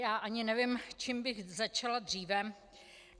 Já ani nevím, čím bych začala dříve.